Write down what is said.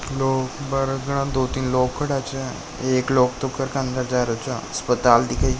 लोग बार दो तीन लोग खड्या छे एक लोग तो घर अन्दर जा रहा छे अस्पताल दिखाई छे।